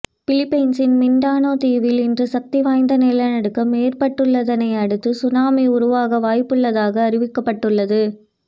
பிலிப்பைன்சின் Mindanao தீவில் இன்று சக்திவாய்ந்த நிலநடுக்கம் ஏற்பட்டுள்ளதனையடுத்து சுனாமி உருவாக வாய்ப்புள்ளதாக அறிவிக்கப்பட்டுள்ளது